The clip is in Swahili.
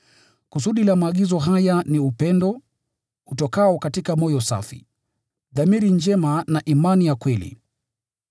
Kusudi la maagizo haya ni upendo utokao katika moyo safi, dhamiri njema na imani ya kweli.